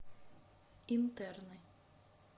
интерны